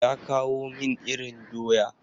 Ya kawo min irin doya.